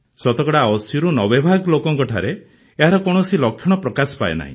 ଶତକଡ଼ା ୮୦ରୁ ୯୦ ଭାଗ ଲୋକଙ୍କଠାରେ ଏହାର କୌଣସି ଲକ୍ଷଣ ପ୍ରକାଶ ପାଏ ନାହିଁ